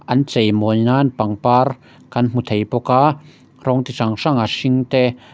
an chei mawi nan pangpar kan hmu thei bawk a rawng chi hran hran a hring te --